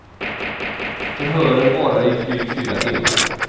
Förhören varade i drygt fyra timmar.